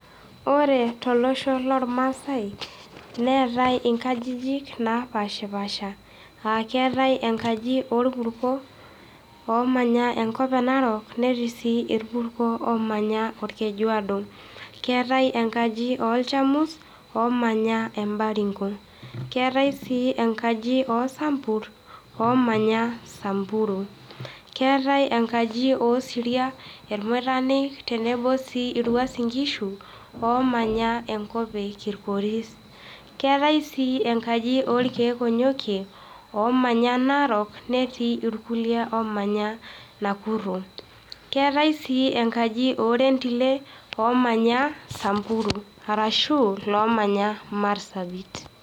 Ore tolosho loolmaasai neetai inkajijik naapaasha, aa keetai enkaji oolpurko, oomanya enkop e Narok, netii sii ilpurko oomanya olkejuoodo. Keetae enkaji oolchamus oomanya embaringo. Keetai sii enkaji oosampur, oomanya Sampuru. Keetai enkaji oosiria, ilmoitanik tenebo sii ilwuasin ingishu, oomanya enkop e Kilgoris. Keetai sii enkaji oolkeek onyokie, oomanya Narok netii ilkuliek oomanya Nakuru. Keetai sii enkaji oorendile oomanya Sampuru arashu loomanya Marsabit.